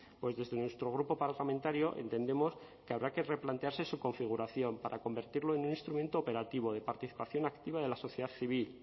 pues desde nuestro grupo parlamentario entendemos que habrá que replantearse su configuración para convertirlo en un instrumento operativo de participación activa de la sociedad civil